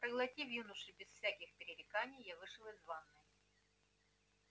проглотив юношу без всяких пререканий я вышел из ванной